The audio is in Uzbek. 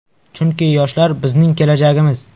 Chunki yoshlar – bizning kelajagimiz.